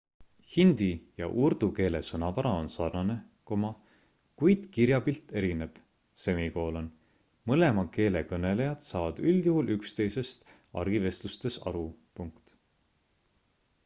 hindi ja urdu keele sõnavara on sarnane kuid kirjapilt erineb mõlema keele kõnelejad saavad üldjuhul üksteisest argivestlustes aru